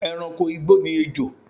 E̩ranko igbó ni ejò